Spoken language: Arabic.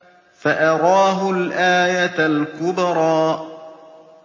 فَأَرَاهُ الْآيَةَ الْكُبْرَىٰ